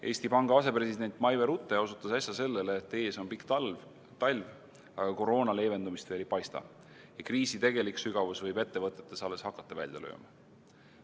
Eesti Panga asepresident Maive Rute osutas äsja sellele, et ees on pikk talv, aga koroona leevendumist veel ei paista ja kriisi tegelik sügavus võib ettevõtetes alles hakata välja lööma.